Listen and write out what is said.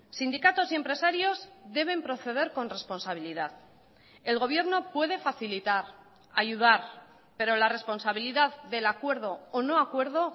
sindicatos y empresarios deben proceder con responsabilidad el gobierno puede facilitar ayudar pero la responsabilidad del acuerdo o no acuerdo